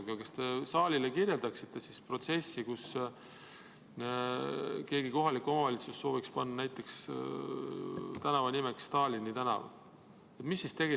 Aga kas te saalile kirjeldaksite protsessi, kui mõni kohalik omavalitsus sooviks panna tänava nimeks näiteks Stalini tänav?